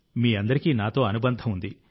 మీ అందరికీ నాతో అనుబంధం ఉంది